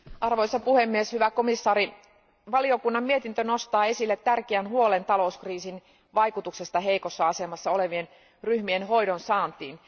Arvoisa puhemies, hyvä komission jäsen, valiokunnan mietintö nostaa esille tärkeän huolen talouskriisin vaikutuksista heikossa asemassa olevien ryhmien hoidon saantiin.